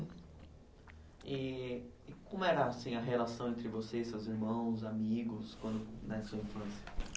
E e como era assim a relação entre você, seus irmãos, amigos quando, na sua infância?